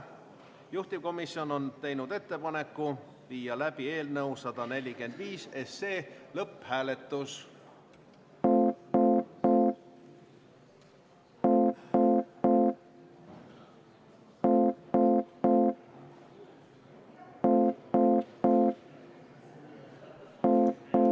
Juhtivkomisjon on teinud ettepaneku viia läbi eelnõu 145 lõpphääletus.